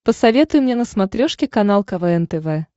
посоветуй мне на смотрешке канал квн тв